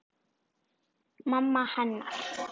Mamma hennar.